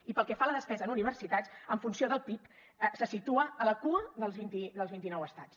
i pel que fa a la despesa en universitats en funció del pib se situa a la cua dels vint inou estats